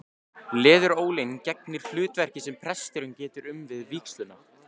Leðurólin gegnir hlutverkinu sem presturinn getur um við vígsluna.